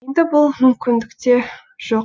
енді бұл мүмкіндік те жоқ